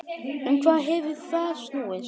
Um hvað hefur það snúist?